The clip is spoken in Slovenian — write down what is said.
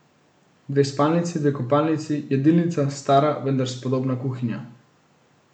Dve spalnici, dve kopalnici, jedilnica, stara, vendar spodobna kuhinja.